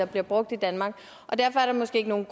bliver brugt i danmark og derfor er der måske ikke nogen